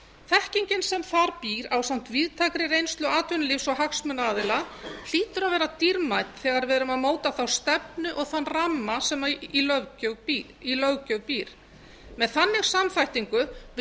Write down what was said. þekkingin sem þar býr á samt víðtækri reynslu atvinnulífs og hagsmunaaðila hlýtur að vera dýrmæt þegar við erum að móta þá stefnu og þann ramma sem í löggjöf býr með þannig samþættingu við